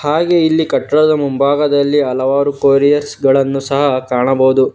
ಹಾಗೇ ಇಲ್ಲಿ ಕಟ್ಟಡದ ಮುಂಭಾಗದಲ್ಲಿ ಹಲವಾರು ಕೊರಿಯರ್ಸ್ ಗಳನ್ನು ಸಹ ಕಾಣಬಹುದು.